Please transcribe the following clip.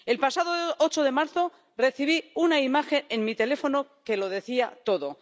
El pasado 8 de marzo recibí una imagen en mi teléfono que lo decía todo.